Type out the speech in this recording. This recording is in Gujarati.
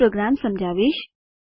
હું પ્રોગ્રામ સમજાવીશ